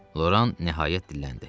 Loran nəhayət dilləndi.